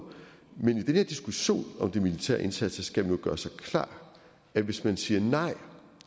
men i den her diskussion om de militære indsatser skal man gøre sig klart at hvis man siger nej